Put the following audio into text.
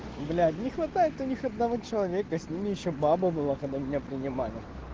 блять не хватает у них одного человека с ними ещё баба была когда меня принимали